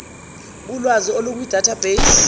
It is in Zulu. kulwazi olukukwi database